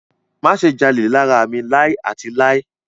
Má ṣe jalè lára mi láì àti láì.